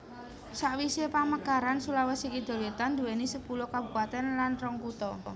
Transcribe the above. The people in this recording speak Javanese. Sawisé pamekaran Sulawesi Kidul wétan nduwèni sepuluh kabupatèn lan rong kutha